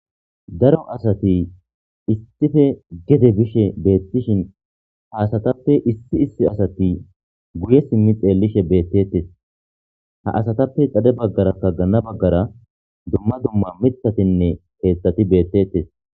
Daro asati istife gede bishe beettishin haasatappe issi issi asati guye simmi xeellishe beettettes ha asatappe dade baggara ka gana baggara dumma dumma mitatinne heettati beettetes.